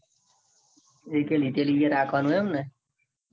લીધેલી હે એ રાખવાનું હે એમ ને